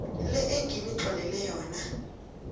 le enginitlolele yona